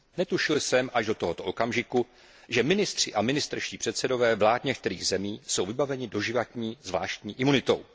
Netušil jsem až do tohoto okamžiku, že ministři a ministerští předsedové vlád některých zemí jsou vybaveni doživotní zvláštní imunitou.